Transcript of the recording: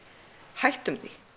hættum því